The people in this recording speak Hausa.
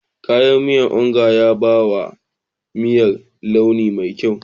Kayan miyar Onga ya ba wa miyar launi mai kyau.